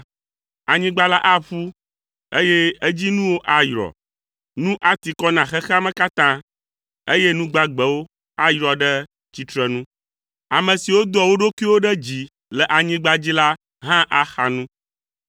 Anyigba la aƒu, eye edzinuwo ayrɔ. Nu ati kɔ na xexea me katã, eye nu gbagbewo ayrɔ ɖe tsitrenu. Ame siwo doa wo ɖokuiwo ɖe dzi le anyigba dzi la hã axa nu.